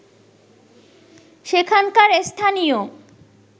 সেখানকার স্থানীয়